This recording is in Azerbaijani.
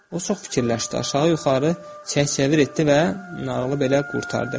O çox fikirləşdi, aşağı-yuxarı çevir-çevir etdi və nağılı belə qurtardı.